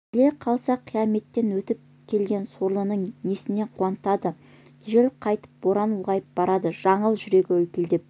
келе қалса қияметтен өтіп келген сорлыны несімен қуантады жел қатайып боран ұлғайып барады жаңыл жүрегі лүпілдеп